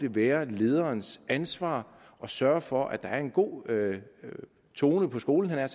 være lederens ansvar at sørge for at der er en god tone på skolen havde